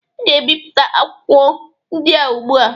Ị ga-ebipụta akwụkwọ ndị a ugbụ a.